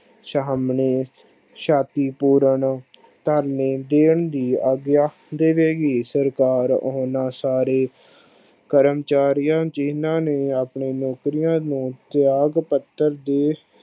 ਸ਼ਾਮ ਨੂੰ ਸ਼ਾਤੀ ਪੂਰਨ ਧਰਨੇ ਦੇਣ ਦੀ ਆਗਿਆ ਦੇਵੇ ਗੀ ਸਰਕਾਰ ਓਹਨਾ ਸਾਰੇ ਕਰਮਚਾਰੀਆਂ ਜਿਨ੍ਹਾਂ ਨੂੰ ਆਪਣੇ ਮੰਤਰੀਆਂ ਨੂੰ ਤਿਆਗ ਪੱਤਰ ਦੀ